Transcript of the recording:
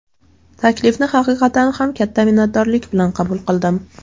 Taklifni haqiqatan ham katta minnatdorlik bilan qabul qildim.